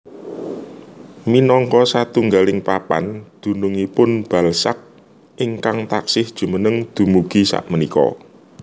Minangka satunggaling papan dununngipun Balzac ingkang taksih jumeneng dumugi sakmenika